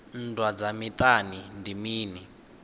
nndwa dza miṱani ndi mini